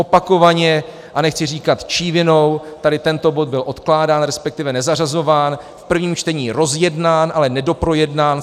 Opakovaně, a nechcí říkat čí vinou, tady tento bod byl odkládán, respektive nezařazován, v prvním čtení rozjednán, ale nedoprojednán.